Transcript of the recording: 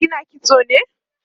kina kitso ne?